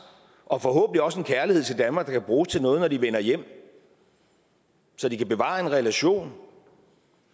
og forhåbentlig også en kærlighed til danmark der kan bruges til noget når de vender hjem så de kan bevare en relation